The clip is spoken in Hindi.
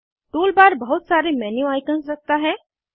टूल बार बहुत सारे मेन्यू आइकन्स रखता है